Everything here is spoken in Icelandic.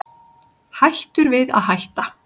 Hættur við að hætta